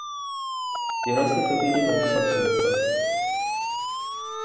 жерасты табиғи байлыққа толып тұр